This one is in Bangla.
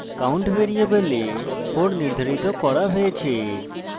$count ভ্যারিয়েবলে 4 নির্ধারিত করা হয়েছে